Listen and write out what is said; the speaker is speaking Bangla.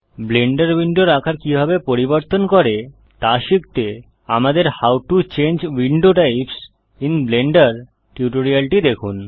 ব্লেন্ডার উইন্ডোর আকার কিভাবে পরিবর্তন করে তা শিখতে আমাদের how to change window types in Blender টিউটোরিয়ালটি দেখুন